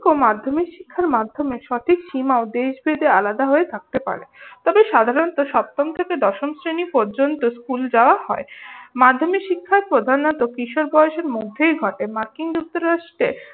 মাধ্যমিক শিক্ষার মাধ্যমে সঠিক সীমাও দেশ ভেদে আলাদা হয়ে থাকতে পারে। তবে সাধারণত সপ্তম থেকে দশম শ্রেণি পর্যন্ত স্কুল যাওয়া হয়। মাধ্যমিক শিক্ষায় প্রধানত কিশোর বয়সের মধ্যেই ঘটে। মার্কিন যুক্তরাষ্ট্রে